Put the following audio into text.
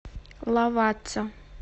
лавацца